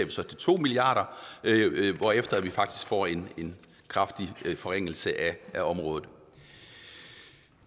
to milliard kr hvorefter vi faktisk får en kraftig forringelse af området